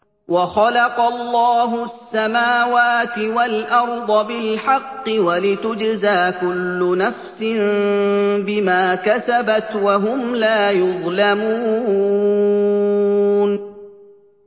وَخَلَقَ اللَّهُ السَّمَاوَاتِ وَالْأَرْضَ بِالْحَقِّ وَلِتُجْزَىٰ كُلُّ نَفْسٍ بِمَا كَسَبَتْ وَهُمْ لَا يُظْلَمُونَ